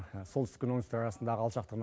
солтүстік пен оңтүстік арасындағы алшақтығының